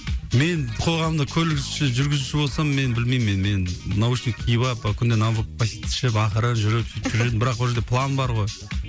мен қоғамдық көлік жүргізушісі болсам мен білмеймін мен мен наушник киіп алып күнде новопассит ішіп ақырын жүріп сөйтіп жүрер едім бірақ ол жерде план бар ғой